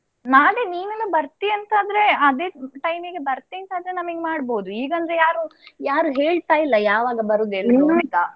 ನಾಳೆ ನೀನೂನು ಬರ್ತಿ ಅಂತ ಆದ್ರೆ ಅದೇ time ಗೆ ಬರ್ತೀನಿ ಅಂತ ಆದ್ರೆ ನಮಿಗೆ ಮಾಡ್ಬೋದು. ಈಗ ಅಂದ್ರೆ ಯಾರು, ಯಾರು ಹೇಳ್ತಾ ಇಲ್ಲ ಯಾವಾಗ ಬರುದು ಎಲ್ರು ಅಂತ.